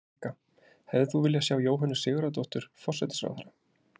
Helga: Hefðir þú viljað sjá Jóhönnu Sigurðardóttur, forsætisráðherra?